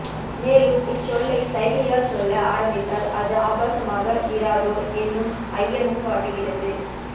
மேலும் இச்சொல்லை சைகையால் சொல்ல ஆரம்பித்தால் அது ஆபாசமாக இராதோ என்னும் ஐயமும் வாட்டுகிறது